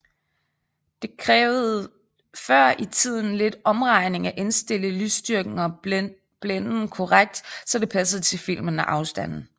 Det krævede før i tiden lidt omregning at indstille lysstyrken og blænden korrekt så det passede til filmen og afstanden